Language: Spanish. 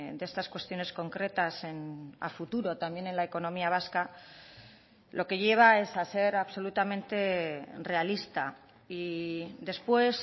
de estas cuestiones concretas a futuro también en la economía vasca lo que lleva es a ser absolutamente realista y después